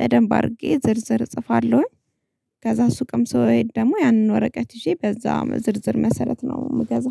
በደንብ አድርጌ ዝርዝር እጽፋለሁኝ። ከዛ ሱቅም ስሄድ ደግሞ ያንን ወረቀት ይዤ በዛ ዝርዝር መሰረት ነው የምገዛው።